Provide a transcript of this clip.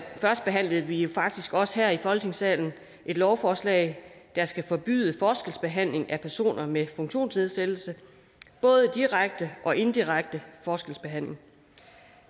førstebehandlede vi jo faktisk også her i folketingssalen et lovforslag der skal forbyde forskelsbehandling af personer med funktionsnedsættelse både direkte og indirekte forskelsbehandling